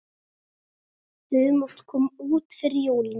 Humátt kom út fyrir jólin.